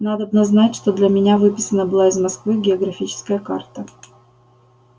надобно знать что для меня выписана была из москвы географическая карта